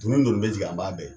Doni doni bɛ jigin a b'a bɛɛ ye.